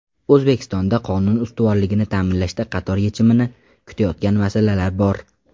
O‘zbekistonda qonun ustuvorligini ta’minlashda qator yechimini kutayotgan masalalar bor.